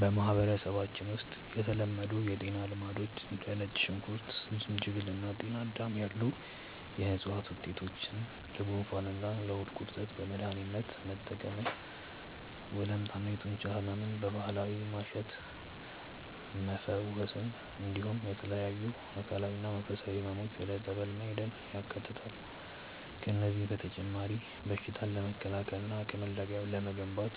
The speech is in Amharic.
በማህበረሰባችን ውስጥ የተለመዱ የጤና ልማዶች እንደ ነጭ ሽንኩርት፣ ዝንጅብል እና ጤናዳም ያሉ የዕፅዋት ውጤቶችን ለጉንፋንና ለሆድ ቁርጠት በመድኃኒትነት መጠቀምን፣ ወለምታና የጡንቻ ሕመምን በባህላዊ ማሸት መፈወስን፣ እንዲሁም ለተለያዩ አካላዊና መንፈሳዊ ሕመሞች ወደ ጸበል መሄድን ያካትታሉ። ከእነዚህም በተጨማሪ በሽታን ለመከላከልና አቅም ለመገንባት